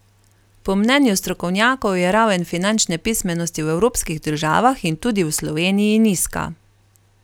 Po mnenju strokovnjakov je raven finančne pismenosti v evropskih državah in tudi v Sloveniji nizka.